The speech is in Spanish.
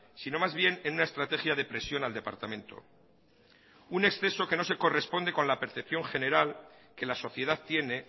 sino más bien en una estrategia de presión al departamento un exceso que no se corresponde con la percepción general que la sociedad tiene